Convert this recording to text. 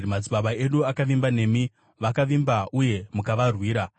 Madzibaba edu akavimba nemi; vakavimba, uye mukavarwira.